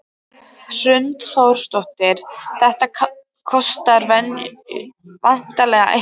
Hrund Þórsdóttir: Þetta kostar væntanlega eitthvað?